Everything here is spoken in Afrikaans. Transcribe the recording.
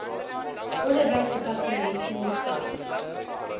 onderwysdepartement geniet tans